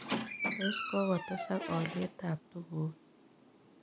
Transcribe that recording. Tos' kogotesak oliet ab tugu